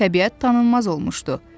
Təbiət tanınmaz olmuşdu.